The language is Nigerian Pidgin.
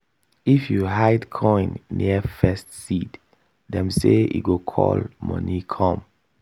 if you hide coin near first seed dem say e go call money come.